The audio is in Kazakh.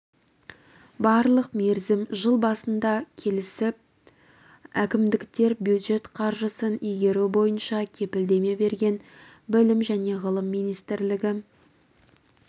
барлық мерзім жыл басында келісіп әкімдіктер бюджет қаржысын игеру бойынша кепілдеме берген білім және ғылым министрлігі